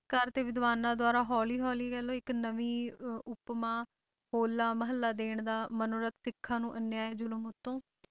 ਕਾਰ ਤੇ ਵਿਦਵਾਨਾਂ ਦੁਆਰਾ ਹੌਲੀ ਹੌਲੀ ਕਹਿ ਲਓ ਇੱਕ ਨਵੀਂ ਅਹ ਉਪਮਾ ਹੋਲਾ ਮਹੱਲਾ ਦੇਣ ਦਾ ਮਨੋਰਥ ਸਿੱਖਾਂ ਨੂੰ ਅਨਿਆਏ ਜ਼ੁਲਮ ਉੱਤੋਂ